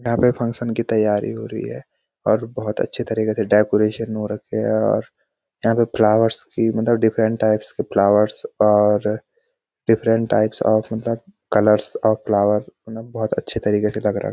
यहाँ पे फंक्शन की तैयारी हो रही है और बहुत अच्छे तरीके से डेकोरेशन हो रखे है और यहाँ पे फ्लावर्स की मतलब डिफरेंट टाइप्स के फ्लावर्स और डिफरेंट टाइप्स ऑफ मतलब कलर्स ऑफ फ्लावर बहुत अच्छे तरीके से लग रहा है।